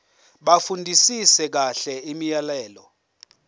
bafundisise kahle imiyalelo